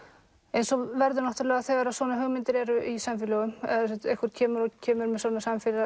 eins og verður þegar hugmyndir eru í samfélögum einhver kemur kemur með svona